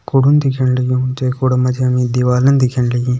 कुड़ुन दिखेण लग्युं जै कूड़ा मा जी हमि दिवालन दिखेण लगीं।